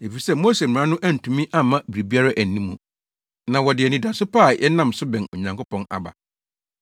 efisɛ Mose Mmara no antumi amma biribiara anni mu, na wɔde anidaso pa bi a yɛnam so bɛn Onyankopɔn aba.